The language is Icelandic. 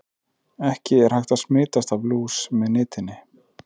Ekki er hægt að smitast af lús með nitinni.